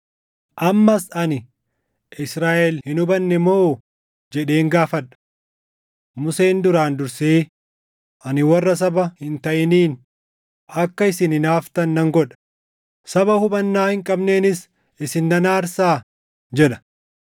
Ammas ani: Israaʼel hin hubanne moo? jedheen gaafadha. Museen duraan dursee, “Ani warra saba hin taʼiniin akka isin hinaaftan nan godha; saba hubannaa hin qabneenis isin nan aarsaa” + 10:19 \+xt KeD 32:21\+xt* jedha.